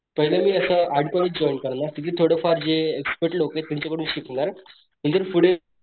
पहिले मी असा आर्ट कॉलेज जॉईन करणार तिथं थोडं फार जे एक्स्पर्ट लोक त्यांच्याकडून शिकणार म्हणजे पुढे,